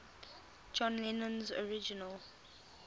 john lennon's original